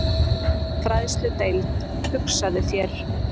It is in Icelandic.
Fræðsludeild, hugsaðu þér!